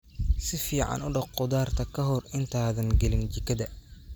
Si fiican u dhaq khudaarta ka hor intaadan gelin jikada.